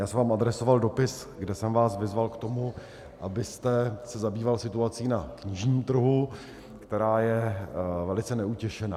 Já jsem vám adresoval dopis, kde jsem vás vyzval k tomu, abyste se zabýval situací na knižním trhu, která je velice neutěšená.